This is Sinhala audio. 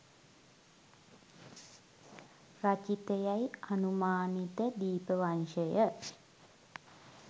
රචිතයැයි අනුමානිත දීපවංශය